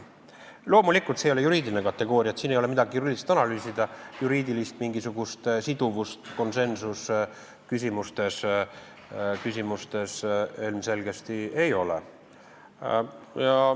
Loomulikult, see ei ole juriidiline kategooria, siin ei ole midagi juriidilist analüüsida, mingisugust juriidilist siduvust konsensusküsimustes ilmselgesti ei ole.